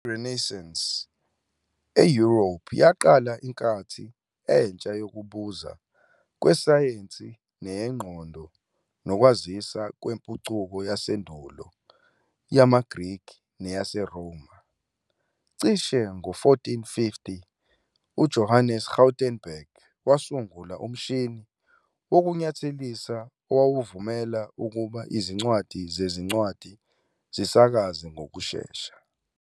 I-Renaissance eYurophu yaqala inkathi entsha yokubuza kwesayensi neyengqondo nokwazisa kwempucuko yasendulo yamaGrikhi neyaseRoma. Cishe ngo-1450, uJohannes Gutenberg wasungula umshini wokunyathelisa, owawuvumela ukuba izincwadi zezincwadi zisakaze ngokushesha.